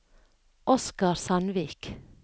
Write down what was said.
Oscar Sandvik